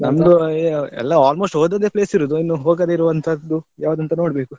A~ ಎಲ್ಲ almost ಹೋದದ್ದೇ place ಇರೋದು ಇನ್ನು ಹೋಗದಿರುವಂತದ್ದು ಯವ್ದಂತ ನೋಡ್ಬೇಕು.